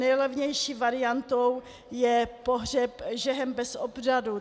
Nejlevnější variantou je pohřeb žehem bez obřadu.